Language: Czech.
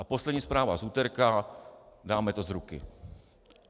A poslední zpráva z úterka: dáme to z ruky.